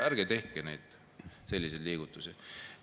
Ärge tehke selliseid liigutusi!